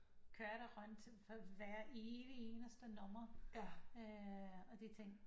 Kørte rundt hver evig eneste nummer øh og de tænkte